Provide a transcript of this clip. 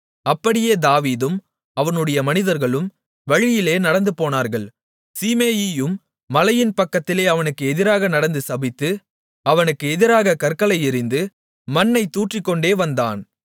அப்படியே தாவீதும் அவனுடைய மனிதர்களும் வழியிலே நடந்துபோனார்கள் சீமேயியும் மலையின் பக்கத்திலே அவனுக்கு எதிராக நடந்து சபித்து அவனுக்கு எதிராகக் கற்களை எறிந்து மண்ணைத் தூற்றிக்கொண்டே வந்தான்